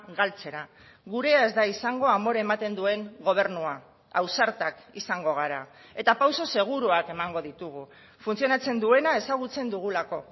galtzera gurea ez da izango amore ematen duen gobernua ausartak izango gara eta pauso seguruak emango ditugu funtzionatzen duena ezagutzen dugulako